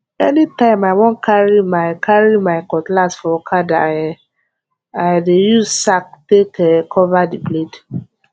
anytime i wan carry my carry my cutlass for okada um i dey use sack take um cover the blade